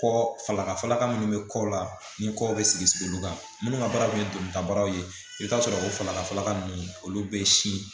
Kɔ falaka falaka minnu bɛ kɔ la ni kɔw bɛ sigi sigi olu kan minnu ka baara tun ye don ta baro ye i bɛ t'a sɔrɔ o falaka faga ninnu olu bɛ si